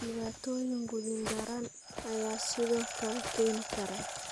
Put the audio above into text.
Dhibaatooyin quudin daran ayaa sidoo kale keeni kara.